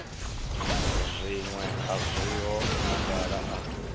zwiṅwe a zwiho khagala a